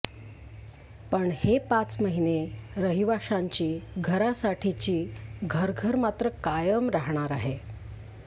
पण हे पाच महिने रहिवाशांची घरासाठीची घरघर मात्र कायम राहणार आहे